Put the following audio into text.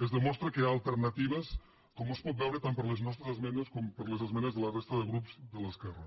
es demostra que hi ha alternatives com es pot veure tant per les nostres esmenes com per les esmenes de la resta de grups de l’esquerra